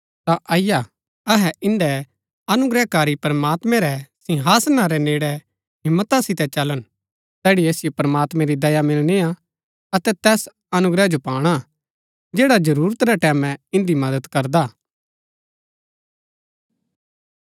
ता अईआ अहै इन्दै अनुग्रहकारी प्रमात्मैं रै सिंहासना रै नेड़ै हिम्मता सितै चलन तैड़ी असिओ प्रमात्मैं री दया मिलनी हा अतै तैस अनुग्रह जो पाणा जैड़ा जरूरत रै टैमैं इन्दी मदद करदा